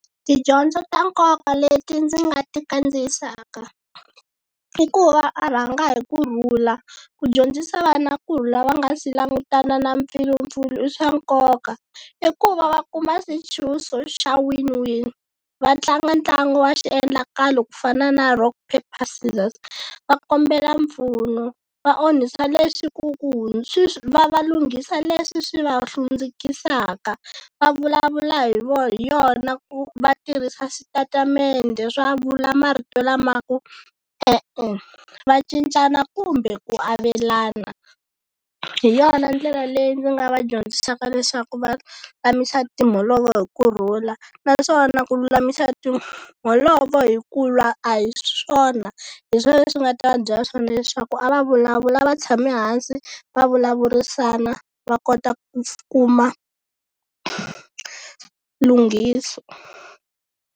Tidyondzo ta nkoka leti ndzi nga ti kandziyisaka i ku va a rhanga hi kurhula, ku dyondzisa vana kurhula va nga se langutana na mpfilimpfilu i swa nkoka. I ku va va kuma swintshuxo xa win win. Va tlanga ntlangu wa xiendlakalo ku fana na rock paper scissors. Va kombela mpfuno va onhisa va va lunghisa leswi swi va hlundzukisaka. Va vulavula hi hi yona va tirhisa switatimende swo vula marito lama ku e-e, va cincana kumbe ku avelana. Hi yona ndlela leyi ndzi nga va dyondzisaka leswaku va lulamisa timholovo hi kurhula naswona ku lulamisa timholovo hi ku lwa a hi swona. Hi swona leswi ni nga ta va byela swona leswaku a va vulavula a va tshame hansi va vulavurisana va kota ku kuma lunghiso.